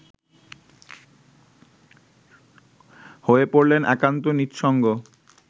হয়ে পড়লেন একান্ত নিঃসঙ্গ